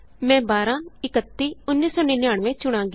ਮੈਂ 12 31 1999 ਚੁਣਾਂਗੀ